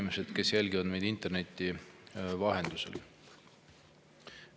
Head inimesed, kes jälgivad meid interneti vahendusel!